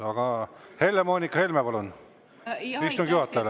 Aga Helle-Moonika Helme, palun, istungi juhatajale.